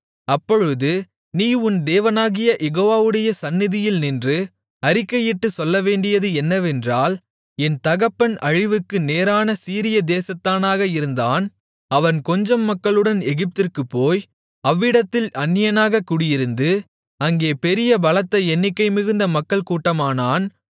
அப்பொழுது நீ உன் தேவனாகிய யெகோவாவுடைய சந்நிதியில் நின்று அறிக்கையிட்டுச் சொல்லவேண்டியது என்னவென்றால் என் தகப்பன் அழிவுக்கு நேரான சீரியா தேசத்தானாக இருந்தான் அவன் கொஞ்சம் மக்களுடன் எகிப்திற்குப் போய் அவ்விடத்தில் அந்நியனாகக் குடியிருந்து அங்கே பெரிய பலத்த எண்ணிக்கை மிகுந்த மக்கள் கூட்டமானான்